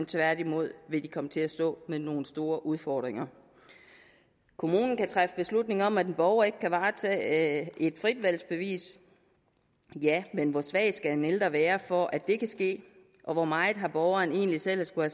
tværtimod vil de komme til at stå med nogle store udfordringer kommunen kan træffe beslutning om at en borger ikke kan varetage et fritvalgsbevis ja men hvor svag skal en ældre være for at det kan ske og hvor meget har borgeren egentlig selv at skulle